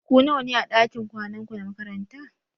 Ku nawa ne a dakin kwanan ku na makaranta?